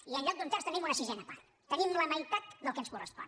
i en lloc d’un terç tenim una sisena part tenim la meitat del que ens correspon